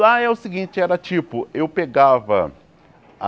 Lá é o seguinte, era tipo, eu pegava a...